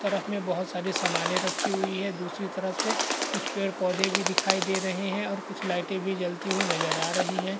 तरफ में बहुत सारी सामानें रखी हुई है दूसरी तरफ से कुछ पेड़-पौधे भी दिखाई दे रहे हैं और कुछ लाइटें भी जलती हुई नजर आ रही है।